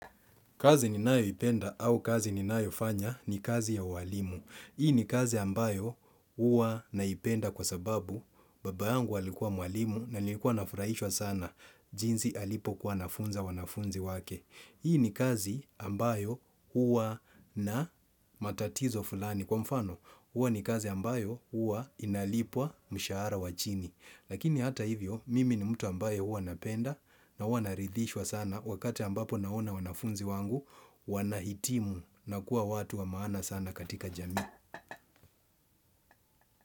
Kazi ninayo ipenda au kazi ninayo fanya ni kazi ya ualimu. Hii ni kazi ambayo hua naipenda kwa sababu baba yangu alikua mwalimu na nilikuwa nafuraishwa sana. Jinsi alipokua anafunza wanafunzi wake. Hii ni kazi ambayo hua na matatizo fulani. Kwa mfano hua ni kazi ambayo hua inalipwa mshaara wachini. Lakini hata hivyo, mimi ni mtu ambaye hua napenda na hua narithishwa sana wakati ambapo naona wanafunzi wangu, wanahitimu na kuwa watu wa maana sana katika jamii.